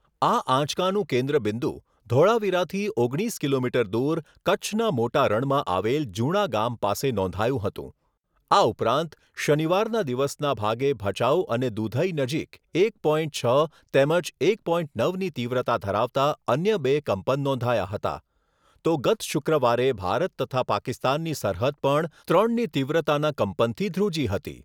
આ આંચકાનું કેન્દ્રબિંદુ ધોળાવીરાથી ઓગણીસ કિલોમીટર દૂર કચ્છના મોટા રણમાં આવેલ જુણા ગામ પાસે નોંધાયું હતું. આ ઉપરાંત શનિવારના દિવસના ભાગે ભચાઉ અને દુધઇ નજીક એક પોઇન્ટ છ તેમજ એક પોઇન્ટ નવની તીવ્રતા ધરાવતા અન્ય બે કંપન નોંધાયા હતા. તો ગત શુક્રવારે ભારત તથા પાકિસ્તાનની સરહદ પણ ત્રણની તીવ્રતાના કંપનથી ધ્રુજી હતી.